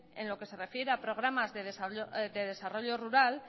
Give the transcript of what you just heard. en lo que se refiere a programas de desarrollo rural